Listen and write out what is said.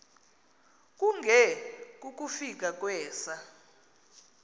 kunge kukufika kwesa